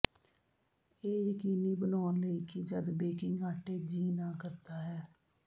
ਇਹ ਯਕੀਨੀ ਬਣਾਉਣ ਲਈ ਕਿ ਜਦ ਬੇਕਿੰਗ ਆਟੇ ਜੀਅ ਨਾ ਕਰਦਾ ਹੈ